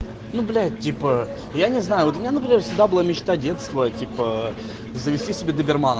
ну типа я не знаю вот я например всегда была мечта детства типа завести себе